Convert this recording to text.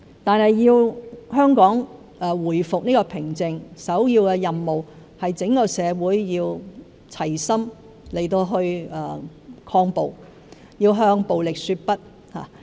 不過，香港如要回復平靜，首要任務是整個社會要齊心抗暴，要向暴力說不。